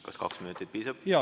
Kas kahest minutist piisab?